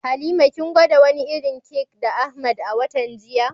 Halima kin gwada wani irin kek da Ahmad a watan jiya?